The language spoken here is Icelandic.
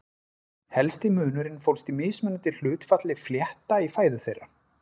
Helsti munurinn fólst í mismunandi hlutfalli flétta í fæðu þeirra.